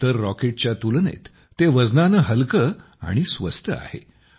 इतर रॉकेटच्या तुलनेत ते वजनाने हलके आणि स्वस्त आहे